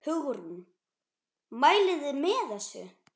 Hugrún: Mælið þið með þessu?